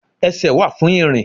Esè wa fún irín